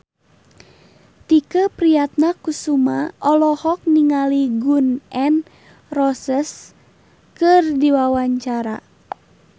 Tike Priatnakusuma olohok ningali Gun N Roses keur diwawancara